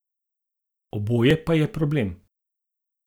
Oboje pa je problem.